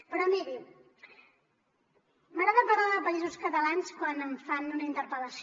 però miri m’agrada parlar de països catalans quan em fan una interpel·lació